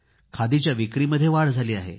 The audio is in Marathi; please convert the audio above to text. खादीच्या विक्रीमध्ये वाढ झाली आहे